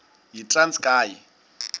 yitranskayi